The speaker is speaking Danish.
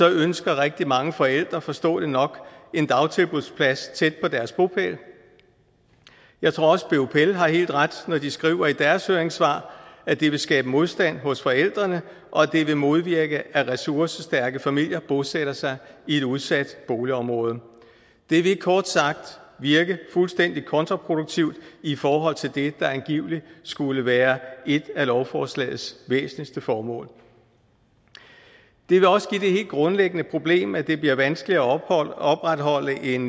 ønsker rigtig mange forældre forståeligt nok en dagtilbudsplads tæt på deres bopæl jeg tror også bupl har helt ret når de skriver i deres høringssvar at det vil skabe modstand hos forældrene og at det vil modvirke at ressourcestærke familier bosætter sig i et udsat boligområde det vil kort sagt virke fuldstændig kontraproduktivt i forhold til det der angiveligt skulle være et af lovforslagets væsentligste formål det vil også give det helt grundlæggende problem at det bliver vanskeligere at opretholde en